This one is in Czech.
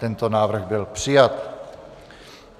Tento návrh byl přijat.